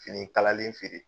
Fini kalalen feere